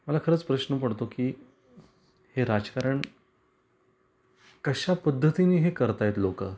मला खरंच प्रश्न पडतो की हे राजकारण कश्या पद्धतीने हे करता आहेत लोक.